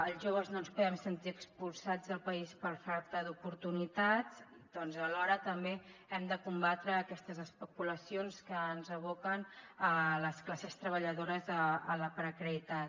els joves no ens podem sentir expulsats del país per falta d’oportunitats doncs alhora també hem de combatre aquestes especulacions que aboquen les classes treballadores a la precarietat